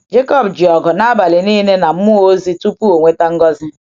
Jekọb ji ọgụ n’abalị niile na mmụọ ozi tupu ọ nweta ngọzi.